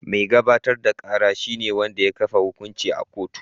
Mai gabatar da kara shi ne wanda ya kafa hukunci a kotu.